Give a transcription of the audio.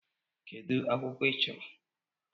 Kedu akwụkwọ ị chọrọ?